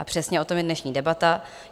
A přesně o tom je dnešní debata.